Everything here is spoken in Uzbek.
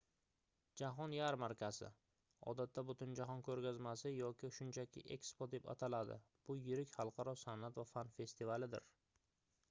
jahon yarmarkasi odatda butunjahon ko'rgazmasi yoki shunchaki ekspo deb ataladi — bu yirik xalqaro san'at va fan festivalidir